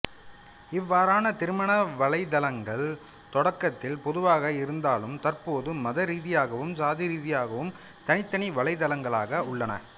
இவ்வாறான திருமண வலைதளங்கள் தொடக்கத்தில் பொதுவாக இருந்தாலும் தற்போது மத ரீதியாகவும் சாதி ரீதியாகவும் தனித்தனி வலைதளங்களாக உள்ளன